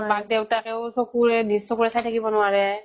মাক দেউতাক ও চকুৰে, নিজ চকুৰে চি থাকিব নোৱাৰে ।